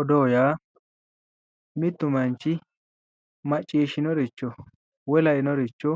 odoo yaa mittu manchi macciishshinoricho woyi lainoricho